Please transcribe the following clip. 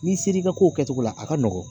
N'i ser'i ka ko kɛcogo la a ka nɔgɔn